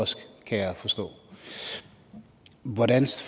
også kan jeg forstå hvordan